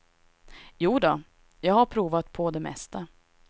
Jodå, jag har provat på det mesta.